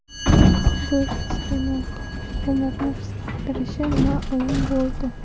Go‘sht iste’mol qilish umrni qisqartirishi ma’lum bo‘ldi.